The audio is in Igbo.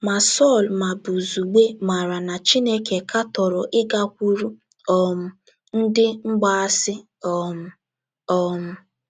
Ma Sọl ma Buzugbe maara na Chineke katọrọ ịgakwuru um ndị mgbaasị um. um